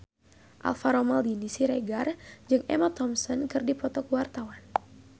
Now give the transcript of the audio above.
Alvaro Maldini Siregar jeung Emma Thompson keur dipoto ku wartawan